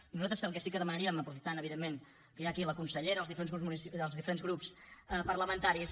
i nosaltres el que sí que demanaríem aprofitant evidentment que hi ha aquí la consellera els diferents grups parlamentaris